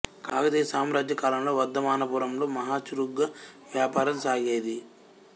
కాకతీయ సామ్రాజ్య కాలంలో వర్థమానపురంలో మహా చురుకుగా వ్యాపారం సాగేది